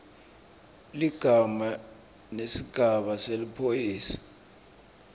ligama nesigaba seliphoyisa